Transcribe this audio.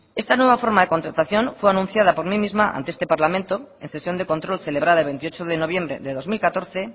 esta nueva forma de contratación fue anunciada por mí misma ante este parlamento en sesión de control celebrada el veintiocho de noviembre de dos mil catorce